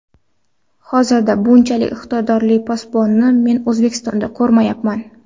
Hozirda bunchalik iqtidorli posbonni men O‘zbekistonda ko‘rmayapman.